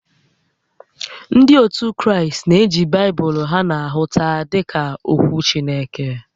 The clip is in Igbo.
Ndị ótù Kraịst na-eji Baịbụlụ nke ha na-ahụta dịka ókwú Chineke